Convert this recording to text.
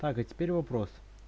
так а теперь вопрос